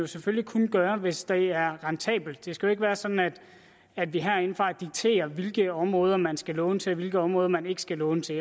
selvfølgelig kun gøre hvis det er rentabelt det skal jo ikke være sådan at vi herindefra dikterer hvilke områder man skal låne til og hvilke områder man ikke skal låne til